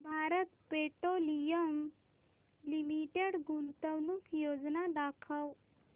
Bharat petroleum limited गुंतवणूक योजना दाखव